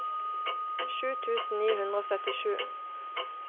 sju tusen ni hundre og syttisju